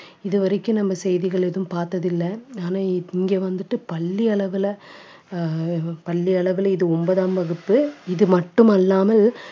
இது வரைக்கும் நம்ம செய்திகள் எதுவும் பார்த்ததில்லை ஆனா இங்கே வந்துட்டு பள்ளி அளவிலே அஹ் பள்ளி அளவிலே இது ஒன்பதாம் வகுப்பு இது மட்டும் அல்லாமல்